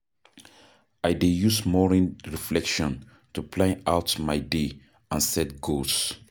I dey use morning reflection to plan out my day and set goals.